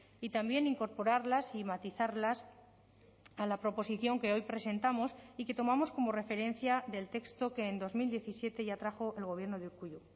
y también incorporarlas y matizarlas a la proposición que hoy presentamos y que tomamos como referencia del texto que en dos mil diecisiete ya trajo el gobierno de urkullu